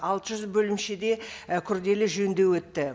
алты жүз бөлімшеде і күрделі жөндеу өтті